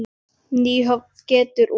Nýhöfn getur út.